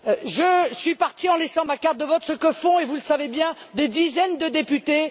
Je suis partie en laissant ma carte de vote. C'est ce que font, et vous le savez bien, des dizaines de députés.